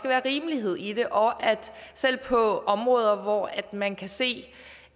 være rimelighed i det og selv på områder hvor man kan se